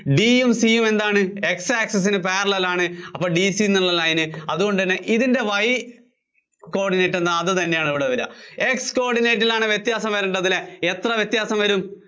D യും C യും എന്താണ് X access നു parallel ആണ്. അപ്പോ DC എന്നുള്ള line ന് അതുകൊണ്ടുതന്നെ ഇതിന്‍റെ Y coordinate എന്താ അത് തന്നെയാണ് ഇവിടെ വര്വാ. X coordinate ലാണ് വ്യത്യാസം വരേണ്ടതല്ലേ? എത്ര വ്യത്യാസം വരും?